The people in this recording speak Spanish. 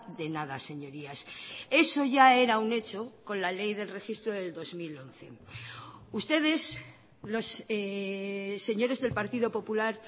de nada señorías eso ya era un hecho con la ley del registro del dos mil once ustedes los señores del partido popular